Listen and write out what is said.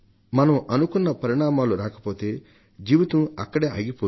మనం అనుకున్న పరిణామాలు రాకపోతే జీవితం అక్కడే ఆగిపోదు